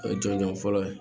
O ye jɔnjɔn fɔlɔ ye